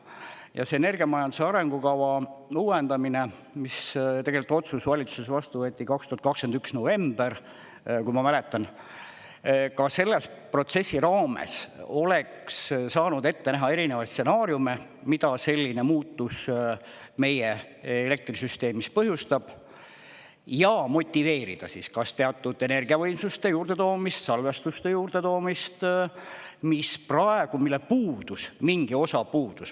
Ja see energiamajanduse arengukava uuendamine, mis tegelikult otsus valitsuses vastu võeti 2021 november, kui ma mäletan, ka selle protsessi raames oleks saanud ette näha erinevaid stsenaariume, mida selline muutus meie elektrisüsteemis põhjustab, ja motiveerida siis kas teatud energiavõimsuste juurdetoomist, salvestuste juurdetoomist, mis praegu … mille puudus, mingi osa puudus.